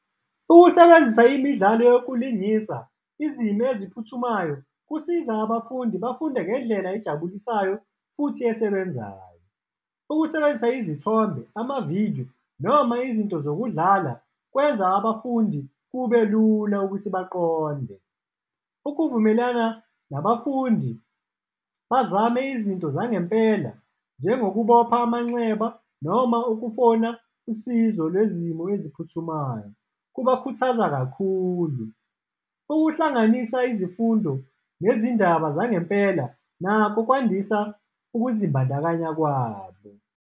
Ukusebenzisa imidlalo yokulingisa izimo eziphuthumayo kusiza abafundi bafunde ngendlela ejabulisayo futhi esebenzayo. Ukusebenzisa izithombe, amavidiyo, noma izinto zokudlala, kwenza abafundi kube lula ukuthi baqonde. Ukuvumelana nabafundi bazame izinto zangempela, njengokubopha amanxeba noma ukufona usizo lwezimo eziphuthumayo kubakhuthaza kakhulu. Ukuhlanganisa izifundo nezindaba zangempela nakho kwandisa ukuzibandakanya kwabo.